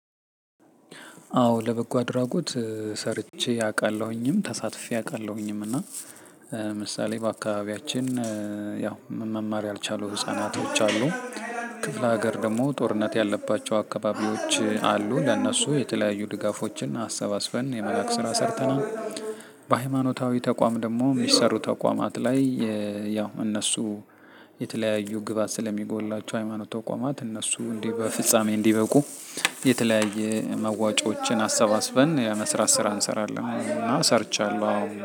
አዎ ለበጎ አድራጎት ሰርቼ አቃለሁኝም ተሳትፌ አውቃለሁኝም እና ምሳሌ በአካባቢያችን ያው መማር ያልቻሉ ህፃናቶች አሉ ክፍለ ሀገር ደግሞ ጦርነት ያለባቸው አካባቢዎች አሉ ለእነሱ የተለያዩ ድጋፎችን አሰባስበን የመላክ ስራ ሰርተናል። በሀይማኖታዊ ተቋም ደሞ ሚሰሩ ተቋማት ላይ የያው እነሱ የተለያዩ ግባት ስለሚጎላቸው ሃይማኖት ተቋማት እነሱም እነዲ በፍጻሜ እንዲበቁ። የተለያየ መዋጮዎችን አሰባስበን የመስራት ስራ እንሰራለን እና ሰርቻለሁ አዎ